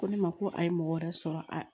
Ko ne ma ko a ye mɔgɔ wɛrɛ sɔrɔ a